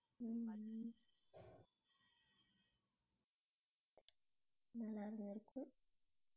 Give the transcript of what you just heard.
உம் உம் நல்லாதான் இருக்கும்